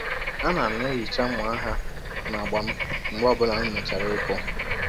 A na m na-ehicha mma agha na agba m mgbe ọ bụla m mechara ịkụ.